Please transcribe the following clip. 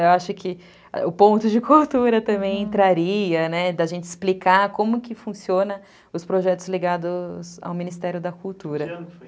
Eu acho que o ponto de cultura também entraria, da gente explicar como que funcionam os projetos ligados ao Ministério da Cultura.